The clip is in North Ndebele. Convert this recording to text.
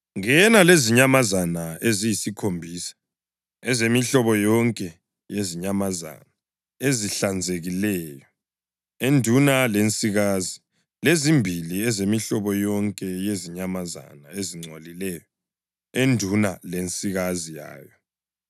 Ngena lezinyamazana eziyisikhombisa ezemihlobo yonke yezinyamazana ezihlanzekileyo, enduna lensikazi, lezimbili ezemihlobo yonke yezinyamazana ezingcolileyo, enduna lensikazi yayo,